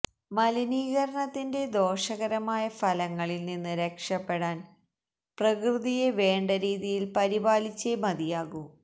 മലിനീകരണത്തിന്റെ ദോഷകരമായ ഫലങ്ങളിൽ നിന്ന് രക്ഷപ്പെടാൻ പ്രകൃതിയെ വേണ്ടരീതിയിൽ പരിപാലിച്ചേ മതിയാകൂ